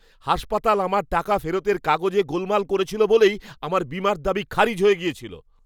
হাসপাতাল আমার টাকা ফেরতের কাগজে গোলমাল করেছিল বলেই আমার বীমার দাবি খারিজ হয়ে গিয়েছিল।